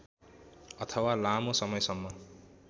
अथवा लामो समयसम्म